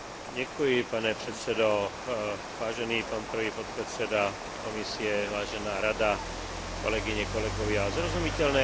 Zrozumiteľné a jasné právne predpisy sú ľahšie prístupné a tak zaručujú účinnejšie právne uplatňovanie práv a povinností.